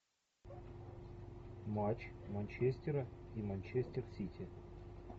матч манчестера и манчестер сити